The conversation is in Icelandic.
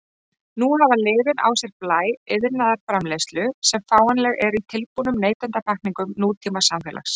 Nú hafa lyfin á sér blæ iðnaðarframleiðslu sem fáanleg er í tilbúnum neytendapakkningum nútímasamfélags.